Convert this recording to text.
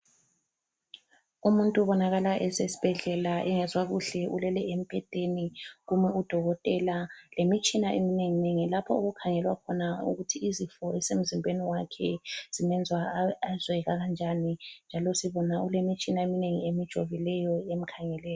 Umuntu ubonakala esesibhedlela engezwa kuhle. Ulele embhedeni kume udokotela lemitshina eminenginengi lapho okukhangelwa khona ukuthi izifo ezisemzimbeni wakhe zimenza azwe kanjani njalo sibona kulemitshina eminengi emjovileyo emkhangeleyo.